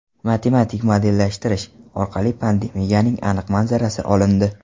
Matematik modellashtirish orqali pandemiyaning aniq manzarasi olindi.